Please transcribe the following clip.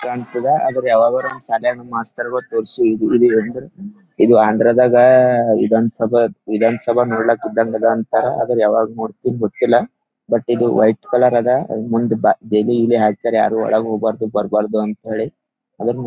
ಕಾಂತದ ಅದ್ರ್ ಯಾವಾಗಾದ್ರೂ ಒನ್ದ ಶಾಲ್ಯಾಗ ಮಾಸ್ತರ್ಗ ತೋರ್ಸಿ ಇದು ಆಂಧ್ರದಾಗ ವಿಧಾನಸಭಾ ವಿಧಾನಸಭಾ ನೋಡಲಿಕೆ ಇದ್ದಹಾಂಗೆ ಅದ ಅಂತ ಆದ್ರ ಯಾವಾಗ ನೋಡ್ತಿನಿ ಗೊತ್ತಿಲ ಬಟ್ ಇದು ವೈಟ್ ಕಲರ್ ಅದ ಮುಂದ್ ಗೆರಿ ಗಿರಿ ಹಾಕ್ಯಾರ ಯಾರು ಒಳಗ್ ಹೋಗಬಾರದು ಬರಬಾರ್ದು ಅಂತ ಹೇಳಿ ಆದರನು --